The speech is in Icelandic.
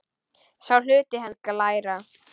Sá hluti hennar heitir glæra.